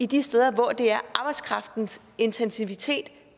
de steder hvor det er arbejdskraftens intensitet